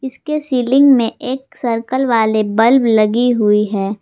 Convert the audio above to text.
इसके सीलिंग में एक सर्कल वाले बल्ब लगी हुई है।